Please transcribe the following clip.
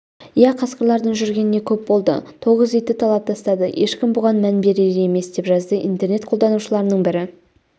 иә қасқырлардың жүргеніне көп болды тоғыз итті талап тастады ешкім бұған мән берер емес деп жазды интернет қолданушыларының бірі